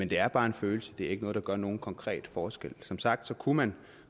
det er bare en følelse det er ikke noget der gør nogen konkret forskel som sagt kunne man